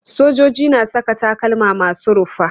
Sojoji na saka takalma masu rufa.